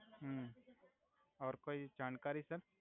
હુ ઓર કોઇ જાણકારી સર